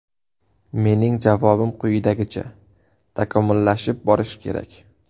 Mening javobim quyidagicha: takomillashib borish kerak.